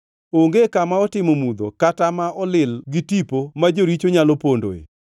Onge kama otimo mudho kata kama olil gi tipo ma joricho nyalo pondoe.